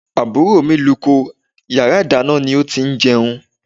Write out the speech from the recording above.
Àbúrò mi luko, yàrá ìdáná ni ó ti máa ń jẹun.